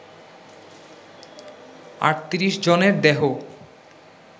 ৩৮ জনের দেহ